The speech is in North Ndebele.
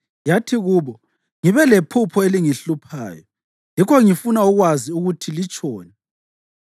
yathi kubo, “Ngibe lephupho elingihluphayo yikho ngifuna ukwazi ukuthi litshoni.”